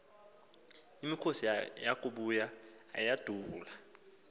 imikhosi yakubuya ayandula